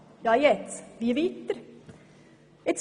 Doch wie soll man in dieser Situation weitergehen?